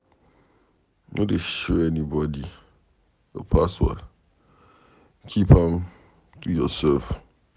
No dey show anybody your password. Keep am to yourself.